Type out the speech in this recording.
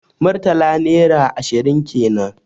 Murtala naira ashirin kenan